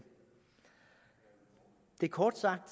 det er kort sagt